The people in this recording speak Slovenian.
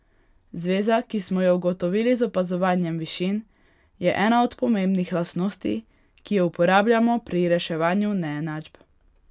Zveza, ki smo jo ugotovili z opazovanjem višin, je ena od pomembnih lastnosti, ki jo uporabljamo pri reševanju neenačb.